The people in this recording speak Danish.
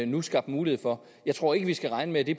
nu skabt mulighed for jeg tror ikke vi skal regne med at det